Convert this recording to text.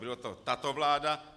Byla to tato vláda?